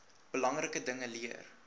belangrike dinge leer